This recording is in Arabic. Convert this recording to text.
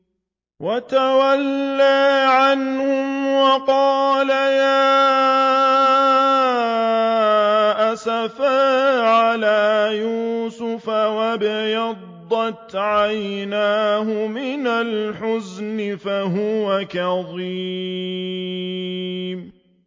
وَتَوَلَّىٰ عَنْهُمْ وَقَالَ يَا أَسَفَىٰ عَلَىٰ يُوسُفَ وَابْيَضَّتْ عَيْنَاهُ مِنَ الْحُزْنِ فَهُوَ كَظِيمٌ